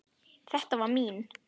Þetta var mín.